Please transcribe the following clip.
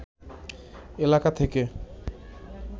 এলাকা থেকে